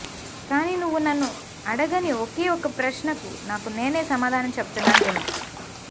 కానీ నువ్వు నన్ను అడగని ఒకే ఒక్క ప్రశ్నకు నాకు నేనే సమాధానం చెబుతున్నాను విను